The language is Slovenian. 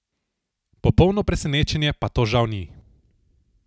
Popolno presenečenje pa to žal ni.